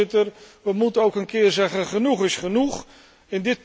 Kortom, Voorzitter, we moeten ook een keer zeggen dat genoeg genoeg is.